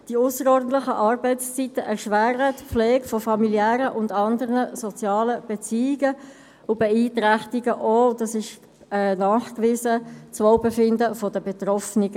Die ausserordentlichen Arbeitszeiten erschweren die Pflege von familiären und anderen sozialen Beziehungen und beeinträchtigen, wie nachgewiesen wurde, das Wohlbefinden der Betroffenen.